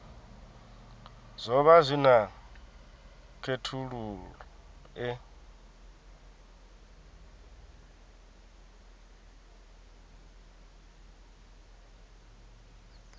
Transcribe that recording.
zwo vha zwi na khethululoe